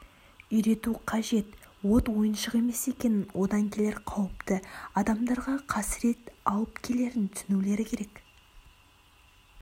үйрету қажет от ойыншық емес екенін одан келер қауіпті адамдарға қасірет алып келерін түсінулері керек